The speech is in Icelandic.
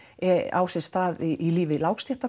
á sér stað í lífi